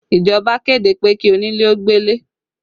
Ìjọba kéde pé kí onílé ó gbé ilé